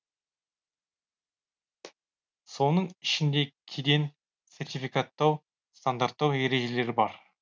соның ішінде кеден сертификаттау стандарттау ережелері бар